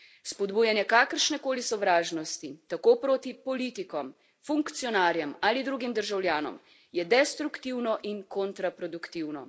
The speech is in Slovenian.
Spodbujanje kakršne koli sovražnosti, tako proti politikom, funkcionarjem ali drugim državljanom, je destruktivno in kontraproduktivno.